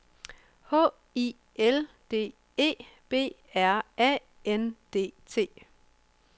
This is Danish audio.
H I L D E B R A N D T